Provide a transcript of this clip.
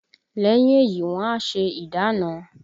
Lẹ́yìn èyí wọn a ṣe ìdána